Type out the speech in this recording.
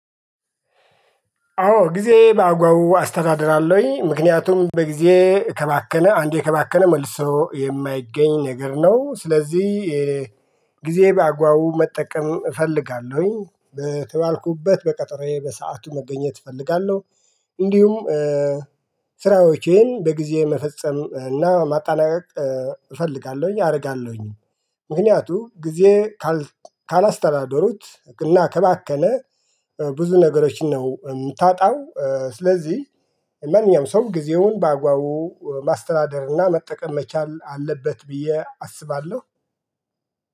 አዎ ጊዜ በአግባቡ አስተዳድራለሁኝ ምክንያቱም ጊዜ ከባከነ አንዴ ከባከነ መልሶ የማይገኝ ነገር ነው። ስለዚህ ጊዜ በአጓቡ መጠቀም እፈልጋለሁኝ በተባልኩበት በቀጠሮዬ በሰአቱ መገኘት እፈልጋለሁ። እንዲሁም ስራዎቼን በጊዜ መፈጸም እና ማጣላቀቅ እፈልጋለሁኝ አደርጋለሁኝ። ምክንያቱም ጊዜ ካላስተዳደሩት እና ከባከነ ብዙ ነገሮችን ነው እምናጣው። ስለዚህ ማንኛውም ሰው ጊዜውን በአጓቡ ማስተዳደርና መጠቀም መቻል አለበት ብዬ አስባለሁ